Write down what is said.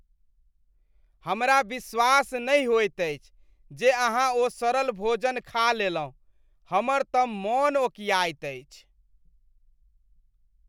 हमरा विश्वास नहि होइत अछि जे अहाँ ओ सड़ल भोजन खा ललहुँ। हमर तऽ मन ओकियाइत अछि।